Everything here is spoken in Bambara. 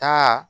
Taa